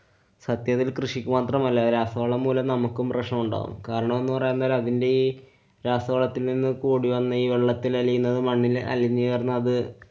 സത്യത്തില്‍ കൃഷിക്ക് മാത്രമല്ല. രാസവളം മൂലം നമുക്കും പ്രശ്നമുണ്ടാകും. കാരണംന്നു പറയാന്‍ നേരം അതിന്‍ടെ ഈ രാസവളത്തില്‍ നിന്നും കൂടിവന്ന ഈ വെള്ളത്തിലലിയുന്നതും മണ്ണില്‍ അലിഞ്ഞു ചേര്‍ന്നു അത്